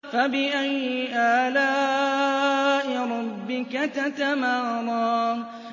فَبِأَيِّ آلَاءِ رَبِّكَ تَتَمَارَىٰ